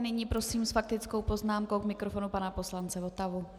A nyní prosím s faktickou poznámkou k mikrofonu pana poslance Votavu.